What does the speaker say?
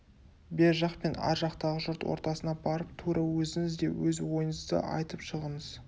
бер жақ пен ар жақтағы жұрт ортасына барып тура өзіңіз де өз ойыңызды айтып шығыңыз